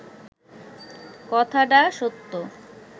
কথাডা সত্য